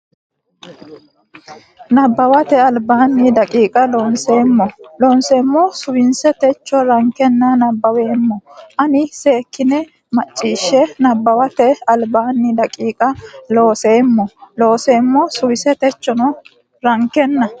Nabbawate Albaanni daqiiqa Looseemmo Looseemmo suwise techo rankenna nabbaweemmo ana seekktine macciishshe Nabbawate Albaanni daqiiqa Looseemmo Looseemmo suwise techo rankenna.